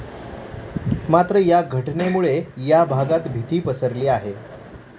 मात्र, या घटनेमुळे या भागात भीती पसरली आहे.